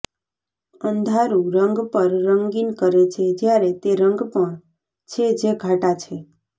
અંધારું રંગ પણ રંગીન કરે છે જ્યારે તે રંગ પણ છે જે ઘાટા છે